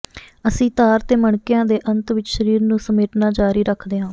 ਅਸੀਂ ਤਾਰ ਤੇ ਮਣਕਿਆਂ ਦੇ ਅੰਤ ਵਿੱਚ ਸਰੀਰ ਨੂੰ ਸਮੇਟਣਾ ਜਾਰੀ ਰੱਖਦੇ ਹਾਂ